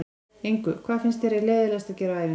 Engu Hvað finnst þér leiðinlegast að gera á æfingu?